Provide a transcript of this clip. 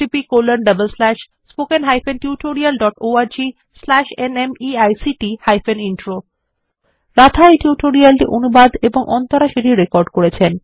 httpspoken tutorialorgNMEICT Intro Radha এই tutorial টি অনুবাদ এবং অন্তরা সেটি রেকর্ড করেছেন